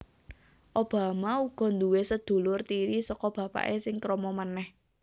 Obama uga duwé sedulur tiri saka bapaké sing krama manèh